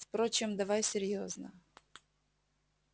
впрочем давай серьёзно